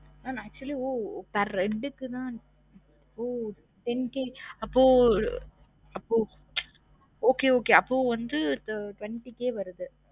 mam actually ஒ per head க்கு தா ஒ ten K அப்போ அப்போ okay okay அப்போ வந்து twenty K வருது